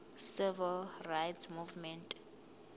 civil rights movement